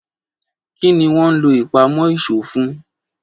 Kí ni wọ́n ń lò ìpamọ́ ìṣó fún